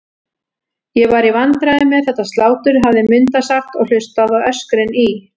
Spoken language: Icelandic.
Ég var í vandræðum með þetta slátur, hafði Munda sagt og hlustað á öskrin í